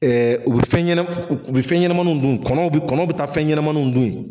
Ɛ u bi fɛn ɲɛnɛ u bi fɛn ɲɛnɛnmannuw dun kɔnɔ kɔnɔw bi taa fɛn ɲɛnɛnmanuw dun yen